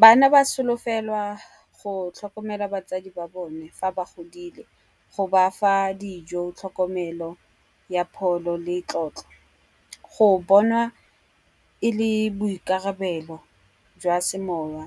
Bana ba solofelwa go tlhokomela batsadi ba bone fa ba godile go bafa dijo, tlhokomelo ya pholo le tlotlo. Go bonwa e le boikarabelo jwa semowa